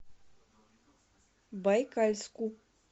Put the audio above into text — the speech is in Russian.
байкальску